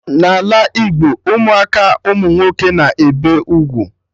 N'ala Igbo Ụmụaka umunwoke na-ebe ugwu